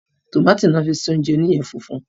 Tómátì ni wọ́n fi sí oúnjẹ oníyẹ funfun